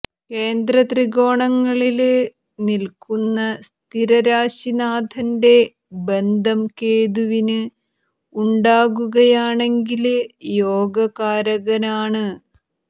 കേന്ദ്ര ത്രികോണങ്ങളില് നില്ക്കുന്ന സ്ഥിരരാശി നാഥന്റെ ബന്ധം കേതുവിന് ഉണ്ടാകുകയാണെങ്കില് യോഗകാരകനാണ്